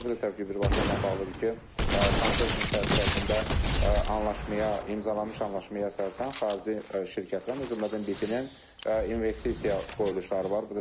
Bu da təbii ki, birbaşa onunla bağlıdır ki, konsorsium çərçivəsində anlaşmaya, imzalanmış anlaşmaya əsasən xarici şirkətlərin, o cümlədən BP-nin investisiya qoyuluşları var.